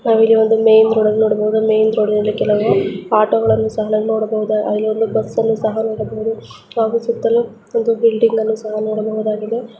ನಾವು ಇಲ್ಲಿ ಒಂದ್ ಮೇನ್ ರೋಡ್ ಅನ್ನು ನೋಡಬಹುದು. ಮೇನ್ ರೋಡ್ ಅಲ್ಲಿ ಕೆಲವು ಆಟೋ ಗಳನ್ನೂ ಸಹಾ ನೋಡಬಹುದು. ಅಲ್ಲಿ ಒಂದು ಬಸ್ ಅನ್ನು ಸಹಾ ನೋಡಬಹುದು. ಹಾಗು ಸುತ್ತಲೂ ಒಂದು ಬಿಲ್ಡಿಂಗ್ ಅನ್ನ ಸಹಾ ನೋಡಬಹುದಾಗಿದೆ.